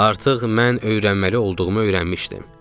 Artıq mən öyrənməli olduğumu öyrənmişdim.